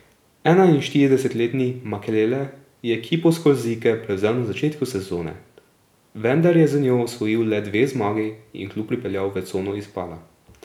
Enainštiridesetletni Makelele je ekipo s Korzike prevzel na začetku sezone, vendar je z njo osvojil le dve zmagi in klub pripeljal v cono izpada.